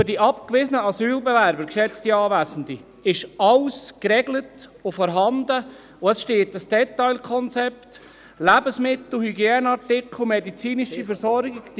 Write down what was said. Für die abgewiesenen Asylbewerber, geschätzte Anwesende, ist alles geregelt und vorhanden, und es steht ein Detailkonzept mit Lebensmitteln, Hygieneartikeln, medizinischer Versorgung zur Verfügung.